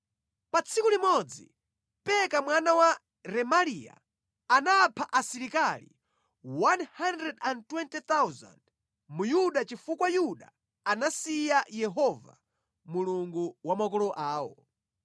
Pa tsiku limodzi, Peka mwana wa Remaliya anapha asilikali 120,000 mu Yuda chifukwa Yuda anasiya Yehova, Mulungu wa makolo awo.